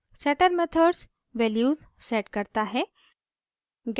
setter methods values set करता है